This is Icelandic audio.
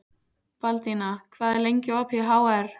Baldína, hvað er lengi opið í HR?